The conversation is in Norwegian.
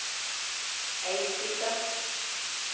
Eidsbygda